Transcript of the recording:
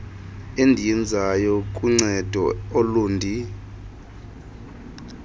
endiyenzayo kuncedo ulundi